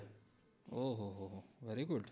ઓ હોહો હો very good